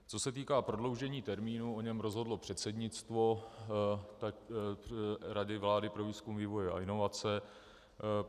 Co se týká prodloužení termínu, o něm rozhodlo předsednictvo Rady vlády pro výzkum, vývoj a inovace.